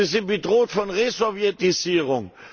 Sie sind bedroht von Resowjetisierung.